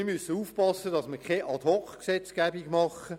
Wir müssen aufpassen, dass wir keine Ad-hoc-Gesetzgebung machen.